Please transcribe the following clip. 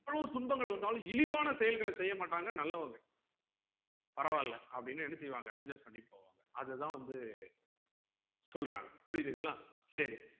எவ்ளோ துன்பங்கள் வந்தாலும் இழிவான செயல்கள செய்யமாட்டங்க நல்லவங்க பராவில்ல அப்புடின்னு என்ன செய்வாங்க adjust பண்ணிட்டு போவாங்க அதுதான் வந்து சொல்றாங்க புரிதுங்களா சரி